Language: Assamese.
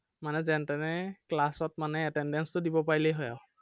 মানে যেনতেনে class ত মানে attendance তো দিব পাৰিলে হয় আৰু